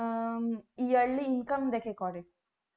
আহ yearly income দেখে করে